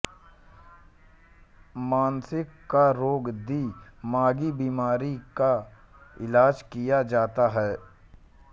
मानसि क रोग दि मागी बीमारी का इलाज कि या जाता है